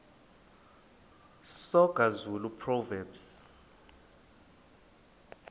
soga zulu proverbs